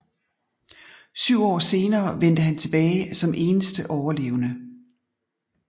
Syv år senere vendte han tilbage som eneste overlevende